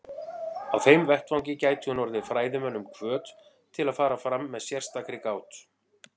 Á þeim vettvangi gæti hún orðið fræðimönnum hvöt til að fara fram með sérstakri gát.